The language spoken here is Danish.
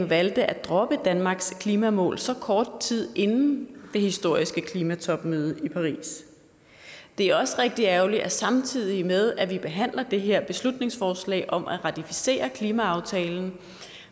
valgte at droppe danmarks klimamål så kort tid inden det historiske klimatopmøde i paris det er også rigtig ærgerligt at samtidig med at vi behandler det her beslutningsforslag om at ratificere klimaaftalen